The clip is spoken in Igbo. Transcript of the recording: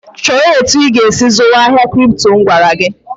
"Chọọ etu ị ga-esi zụwa ahịa Kripto!" M gwara ya.